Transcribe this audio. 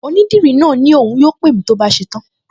Onídìrí náà ní òun yóò pè mí tó bá ṣe tán